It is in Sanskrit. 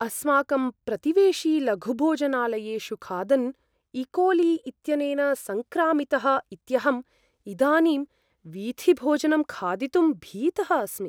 अस्माकं प्रतिवेशी लघुभोजनालयेषु खादन् इकोली इत्यनेन सङ्क्रामितः इत्यहम् इदानीं वीथिभोजनं खादितुं भीतः अस्मि।